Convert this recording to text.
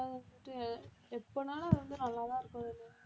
ஆஹ் எப்பன்னாலும் வந்து நல்லாதான் இருக்கும்